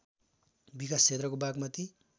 विकास क्षेत्रको बागमती